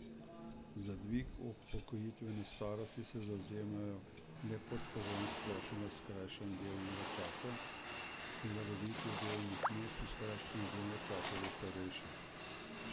Za dvig upokojitvene starosti se zavzemajo le pod pogojem splošnega skrajšanja delovnega časa, prilagoditve delovnih mest in skrajšanega delovnega časa za starejše.